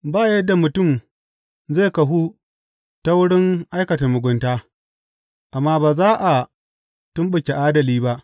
Ba yadda mutum zai kahu ta wurin aikata mugunta, amma ba za a tumɓuke adali ba.